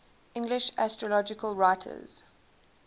english astrological writers